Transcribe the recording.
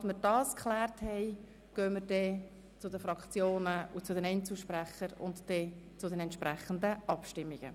Sobald wir das geklärt haben, gehen wir zu den Fraktionen und zu den Einzelsprechenden über und kommen dann zu den entsprechenden Abstimmungen.